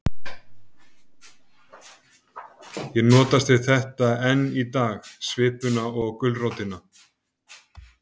Ég notast við þetta enn í dag, svipuna og gulrótina.